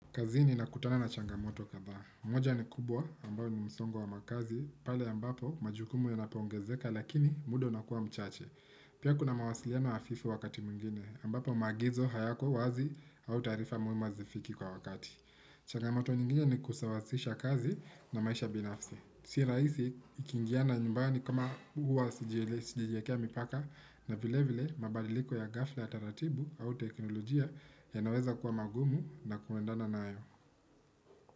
Kazini nakutana na changamoto kabayo. Moja ni kubwa ambayo ni msongo wa makazi, pale ambapo majukumu yonapoongezeka lakini muda unakuwa mchache. Pia kuna mawasiliano hafifu wakati mwingine, ambapo maagizo hayako wazi au taarifa muhimu hazifiki kwa wakati. Changamoto nyingine ni kusawazisha kazi na maisha binafsi. Si rahisi, ikingiana nyumbani kama huwa sijielezi sijajiekea mipaka na vile vile mabadiliko ya ghafla ya taratibu au teknolojia yanaweza kuwa magumu na kuendana nayo.